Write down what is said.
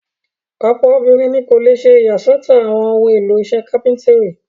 Ọ̀pọ̀ obìnrin ni kò le ṣe ìyàsọ́tọ̀ àwọn ohun-èlò iṣẹ́ kápẹ́ńtírì.